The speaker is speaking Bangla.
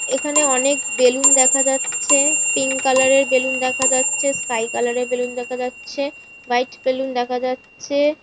এখানে অনেক বেলুন দেখা যাচ্ছে। পিঙ্ক কালার এর বেলুন দেখা যাচ্ছে। স্কাই কালারের বেলুন দেখা যাচ্ছে। হোয়াইট বেলুন দেখা যাচ্ছে।